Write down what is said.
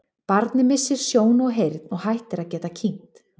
Barnið missir sjón og heyrn og hættir að geta kyngt.